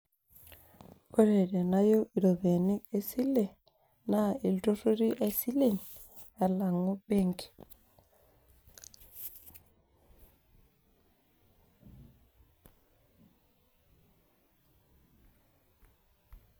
ore tenayieu iropiyiani esile, naa iltururi aisilen alang'u benki.